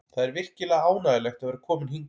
Það er virkilega ánægjulegt að vera kominn hingað.